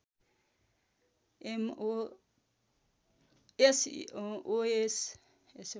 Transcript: SOS